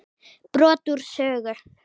Brot úr sögu